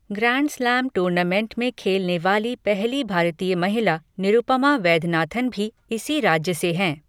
Grand slam tournament में खेलने वाली पहली भारतीय महिला निरुपमा वैद्यनाथन भी इसी राज्य से हैं।